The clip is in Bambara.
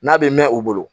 N'a bɛ mɛn u bolo